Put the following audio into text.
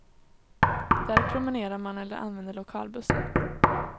Där promenerar man eller använder lokalbussen.